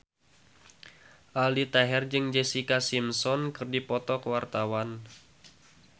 Aldi Taher jeung Jessica Simpson keur dipoto ku wartawan